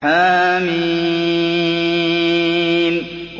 حم